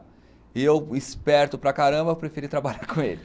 E eu, esperto para caramba, preferi trabalhar com ele.